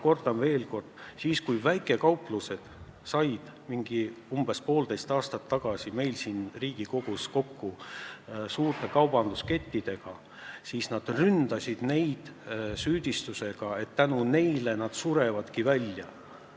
Kordan veel kord: kui väikekaupluste esindajad said umbes poolteist aastat tagasi meil siin Riigikogus kokku suurte kaubanduskettide esindajatega, siis nad ründasid neid süüdistusega, et nende tõttu nad surevad välja.